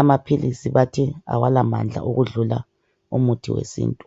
Amaphilisi bathi awalamandla ukudlula umuthi wesintu.